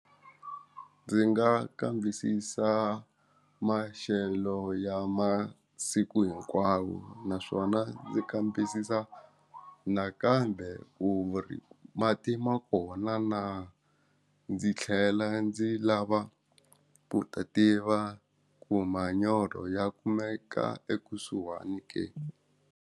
Ndzi nga kambisisa maxelo ya masiku hinkwawo naswona ndzi kambisisa nakambe ku ri mati ma kona na ndzi tlhela ndzi lava ku ta tiva ku manyoro ya kumeka ekusuhani ke.